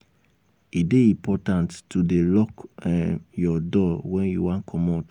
e dey important to dey lock um your door wen you wan comot.